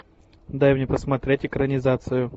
дай мне посмотреть экранизацию